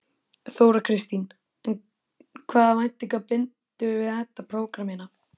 Þóra Kristín: En hvaða væntingar bindurðu við þetta prógramm hérna?